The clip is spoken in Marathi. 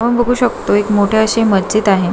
आपण बगु शकतोय एक मोठी अशी मजीद आहे.